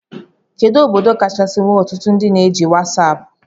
Kedu obodo kachasi nwee ọtụtụ ndị na-eji wasapu?